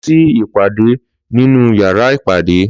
Lọ sí ìpàdé nínú yàrá ìpàdé